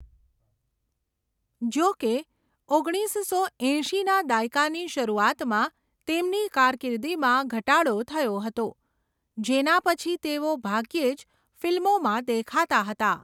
જોકે, ઓગણીસસો એંશીના દાયકાની શરૂઆતમાં તેમની કારકિર્દીમાં ઘટાડો થયો હતો, જેના પછી તેઓ ભાગ્યે જ ફિલ્મોમાં દેખાતા હતા.